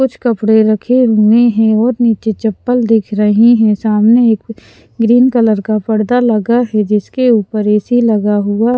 कुछ कपड़े रखे हुए हैं और नीचे चप्पल दिख रही हैं सामने एक ग्रीन कलर का पर्दा लगा है जिसके ऊपर ए_सी लगा हुआ--